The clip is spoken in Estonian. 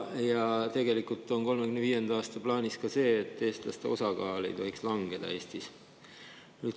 Ja tegelikult on 2035. aasta plaanis ka see, et eestlaste osakaal Eestis ei tohiks langeda.